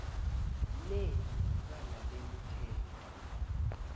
le ibala nemithetho